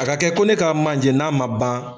A ka kɛ ko ne k'a manje, n'a ma ban.